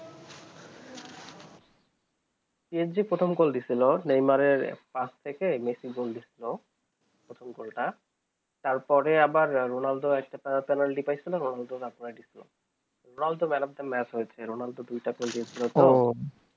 PSG প্রথম দিয়ে ছিল নেইমারে পাস থেকে মেসি Goal দিয়ে ছিল প্রথম goal টা তার পরে আবার রোনালদো একটা penalty পেয়েছিল রোনালদো তা man of the match হয়ে ছিল রোনালদো দুই টা goal দিয়ে ছিল ওহ